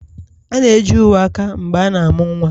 A na-eji uwe aka mgbe a na-amụ nwa